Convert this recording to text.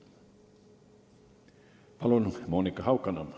Palun, Monika Haukanõmm!